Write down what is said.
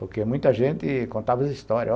Porque muita gente contava as histórias.